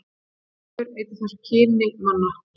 Seifur eyddi því þessu kyni manna.